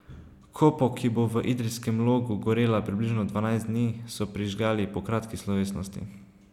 Kopo, ki bo v Idrijskem Logu gorela približno dvanajst dni, so prižgali po kratki slovesnosti.